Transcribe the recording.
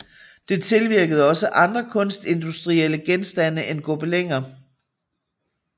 Det tilvirkede også andre kunstindustrielle genstande end gobeliner